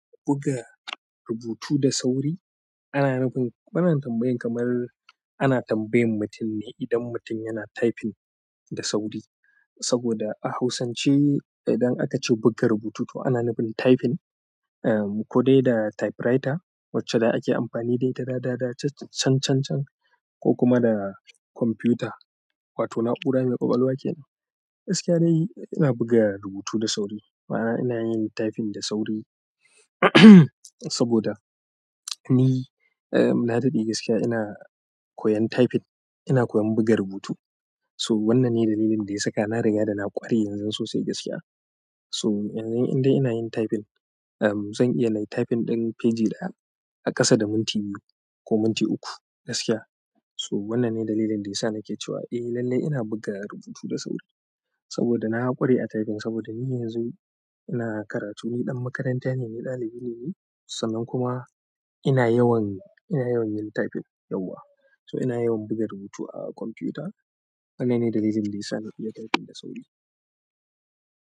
Buga rubutu da sauri ana nufin, wannan tambayan kamar ana tambayan mutum ne idan mutum yana typing da sauri. Saboda a hausance idan aka ce buga rubutu to ana nufin typing, ko dai da typewriter wacce da ake amfani da ita dada da chan chan chan ko kuma da kwamfuta, wato na'ura mai ƙwaƙwalwa kenan. Gaskiya dai ina buga rubutu da sauri, ma'ana ina yin typing da sauri saboda ni, na daɗe gaskiya ina koyan typing, ina koyan buga rubutu. To wannan ne dalilin da ya saka na riga da na ƙware yanzun sosai gaskiya. To yanzu indai ina yin typing, zan iya nayi typing ɗin feji ɗaya a ƙasa da minti biyu ko minti uku gaskiya. To wannan ne dalilin da ya sa nake cewa eh lallai ina buga rubutu da sauri. Saboda na ƙware a typing saboda ni yanzu ina karatu, ni ɗan makaranta ne, ni ɗalibi ne sannan kuma ina yawan, ina yawan yin typing yauwa. To ina yawan buga rubutu a kwamfuta. Wannan ne dalilin da yasa nake buga rubutu da sauri.